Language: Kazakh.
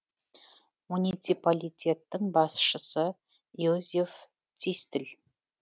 муниципалитеттің басшысы йозеф цистль